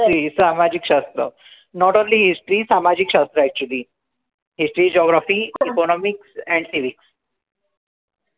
सामाजिक शास्त्र not only history सामाजिक शास्त्र actually history geography economics and physics